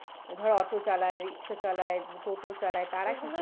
ধর auto চালায় rickshaw চালায় টোটো চালায় তারা